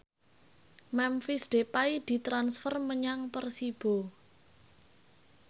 Memphis Depay ditransfer menyang Persibo